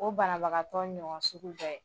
O banabagatɔ ɲɔgɔn sugu bɛɛ